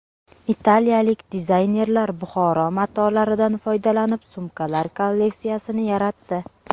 Italiyalik dizaynerlar Buxoro matolaridan foydalanib sumkalar kolleksiyasini yaratdi.